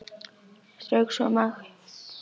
Strauk svo makindalega um strítt skeggið.